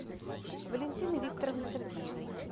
валентины викторовны сергеевой